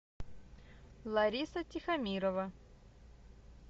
лариса тихомирова